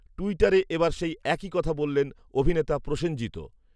টুইটারে এবার সেই একই কথা বললেন অভিনেতা প্রসেনজিৎও